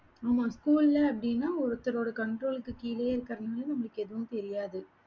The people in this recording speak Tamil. ஆமா school ல அப்படின்னா ஒருத்தரோட control க்கு கீழையே இருக்கிறதுனால நம்மளுக்கு எதுவும் தெரியாது